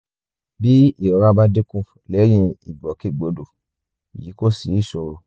bí ìrora bá dínkù lẹ́yìn ìgbòkègbodò yìí kò sí ìṣòro